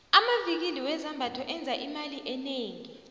amvikili wezambatho enza imali enengi